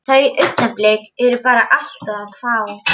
Þau augnablik eru bara allt of fá.